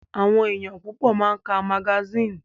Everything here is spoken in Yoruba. Àwọn ènìyàn púpọ̀ máa ń ká magasínì.